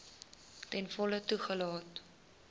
ten volle toegelaat